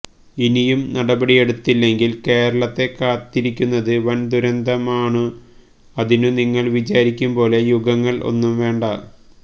ഇനിയും നടപടിയെടുത്തില്ലെങ്കിൽ കേരളത്തെ കാത്തിരിക്കുന്നത് വൻ ദുരന്തമാൺഅതിനു നിങ്ങൾ വിചാരിക്കും പോലെ യുഗങ്ങൾ ഒന്നും വേണ്ട